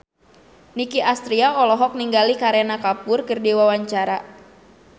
Nicky Astria olohok ningali Kareena Kapoor keur diwawancara